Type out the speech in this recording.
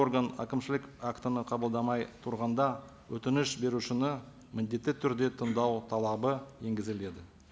орган әкімшілік актіні қабылдамай тұрғанда өтініш берушіні міндетті түрде тыңдау талабы енгізіледі